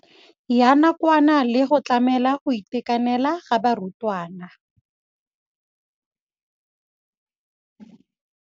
Ya nakwana le go tlamela go itekanela ga barutwana.